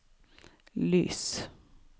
lys